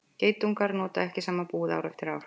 geitungar nota ekki sama búið ár eftir ár